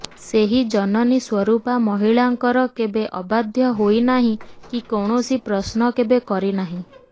ସେହି ଜନନୀ ସ୍ୱରୂପା ମହିଳାଙ୍କର କେବେ ଅବାଧ୍ୟ ହୋଇନାହିଁ କି କୌଣସି ପ୍ରଶ୍ନ କେବେ କରି ନାହିଁ